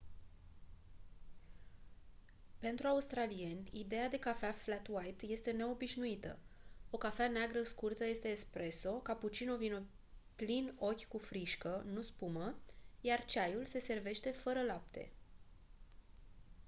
pentru australieni ideea de cafea flat white” este neobișnuită. o cafea neagră scurtă este espresso” cappuccino vine plin ochi cu frișcă nu spumă iar ceaiul se servește fără lapte